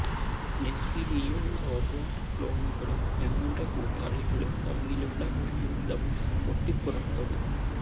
lessee Liu robot ക്ലോണുകളും ഞങ്ങളുടെ കൂട്ടാളികളും തമ്മിലുള്ള ഒരു യുദ്ധം പൊട്ടിപ്പുറപ്പെടും